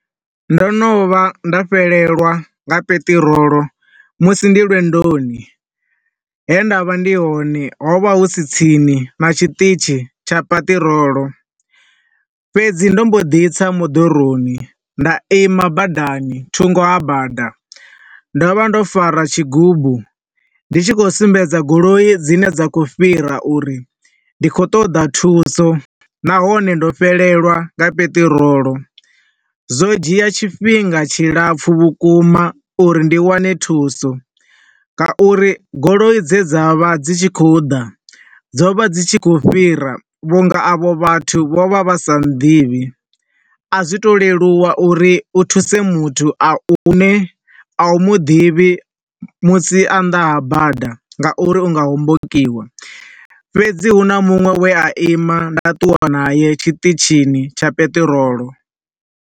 Ndo no vha nda fhelelwa nga peṱirolo musi ndi lwendoni, he nda vha ndi hone hu vha hu si tsini na tshiṱitzhi tsha peṱirolo, fhedzi ndo mbo ḓi tsa moḓoroni, nda ima badani, thungo ha bada. Ndo vha ndo fara tshigubu, ndi khou sumbedza goloi dzine dza khou fhira uri ndi khou ṱoḓa thuso, nahone ndo fhelelwa nga peṱirolo. Zwo dzhia tshifhinga tshilapfu vhukuma uri ndi wane thuso nga uri goloi dze dza vha dzi tshi khou ḓa, dzo vha dzi tshi khou fhira vhunga avho vhathu vho vha vha nnḓivhi, a zwi ngo to leluwa u thuse muthu a u, u ne a u muḓivhi musi a nnḓa ha bada ngauri u nga hombokiwa. Fhedzi hu na munwe e a ima nda ṱuwa nae tshiṱitzhini tsha peṱirolo.